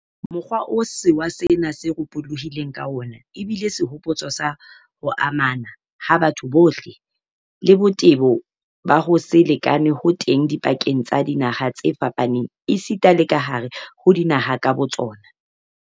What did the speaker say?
Mokgwa oo sewa sena se ropohileng ka wona ebile sehopotso sa ho amana ha batho bohle, le botebo ba ho se lekane ho teng dipakeng tsa dinaha tse fapaneng esita le kahare ho dinaha ka botsona.